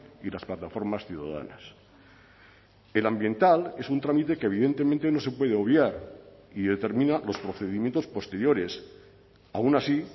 y las plataformas ciudadanas el ambiental es un trámite que evidentemente no se puede obviar y determina los procedimientos posteriores aun así